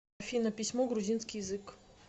афина письмо грузинский язык